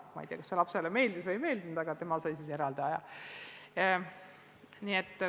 Ma ei tea, kas see lapsele meeldis või ei meeldinud, aga tema sai õppimiseks eraldi aja.